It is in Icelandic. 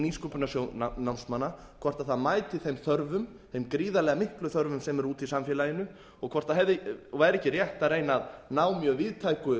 nýsköpunarsjóð námsmanna hvort það mæti þeim gríðarlega miklu þörfum sem eru úti í samfélaginu og hvort það væri ekki rétt að reyna að ná mjög víðtæku